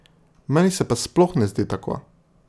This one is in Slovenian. Meni se pa sploh ne zdi tako.